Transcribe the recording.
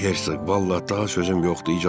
Ay Herzoq, vallah daha sözüm yoxdur.